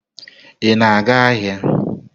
Ị na-aga ahịa?